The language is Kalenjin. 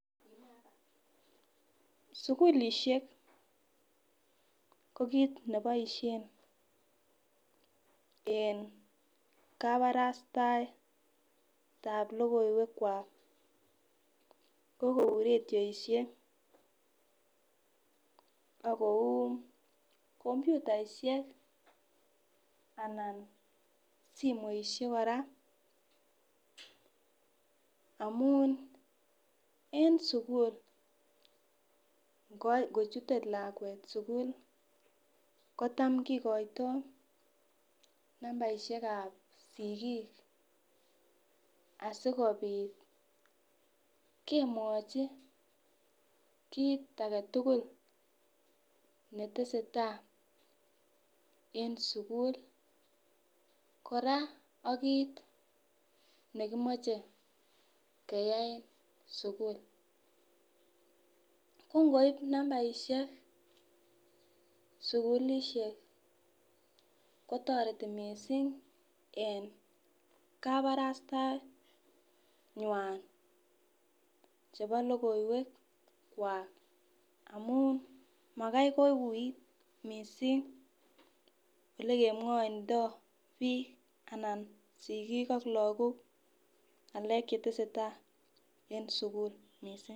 Sukulishek ko kit neboishen en kabarastaet lokoiwek kwak ko kou radioishek ak kou komputaihek anan somoishek kora amun en sukul ngochite lakwet sukul kitam kokoito nambarishekab sikik asikopit kemwochi kit agetutuk netesetai en sukul koraa ak kit kemoche keyai en sukul, ko ngosib nambarishek sukulishek kotoreti missing en kabarastaet nywan chebo lokoiwek kwak amun makai koui missing olekemwoindo bik anan sikik ak lokok ngelek chetesetai en sukul missing.